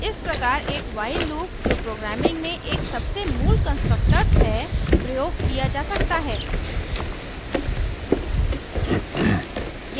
इस प्रकार एक while loop जो programming में एक सबसे मूल constructs constructs है प्रयोग किया जा सकता है